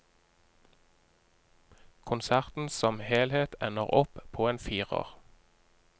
Konserten som helhet ender opp på en firer.